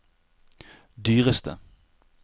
dyreste